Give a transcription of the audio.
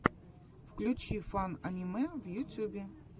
включи фан аниме в ютюбе